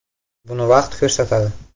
- Buni vaqt ko‘rsatadi.